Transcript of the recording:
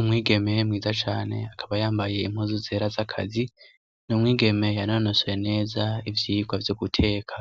Umwigeme mwiza cane akaba yambaye impuzu zera z'akazi; Ni umwigeme yanonosoye neza ivyigwa vyo guteka